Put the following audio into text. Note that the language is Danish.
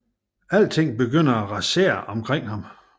Alting begynder at rasere omkring ham